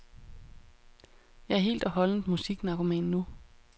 Jeg er helt og holdent musiknarkoman nu.